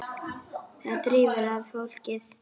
Það drífur að fólkið.